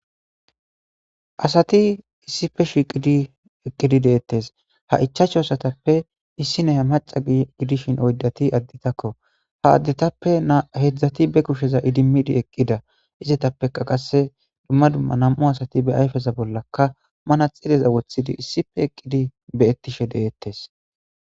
Asati issife shiqidi eqqidi deettes ha ichachu asatappe issi neya maca gidishin oydati additakko ha addetappe heedzdzati be kusheza idimmidi eqqida izetappeka qasse dumma dumma nam'u asati be ayfeza bollaka mana xileza wothidi issife eqqidi be ettishe deettes.